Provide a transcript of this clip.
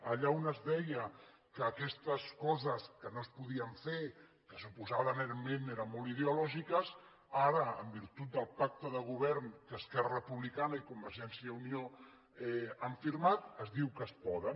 allà on es deia que aquestes coses no es podien fer que suposadament eren molt ideològiques ara en virtut del pacte de govern que esquerra republicana i convergència i unió han firmat es diu que es poden